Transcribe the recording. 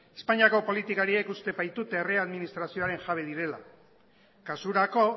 espainiako politikariek uste baitute herri administrazioaren jabe direla kasurako